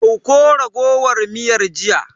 Dauko raguwar miyar jiya.